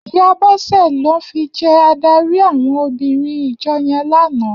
Iyá Bose lò fi jè àdárí áwòn óbìrín ijò yèn làná